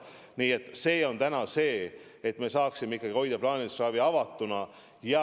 Nii et täna on eesmärk see, et me saaksime ikkagi plaanilise ravi avatuna hoida.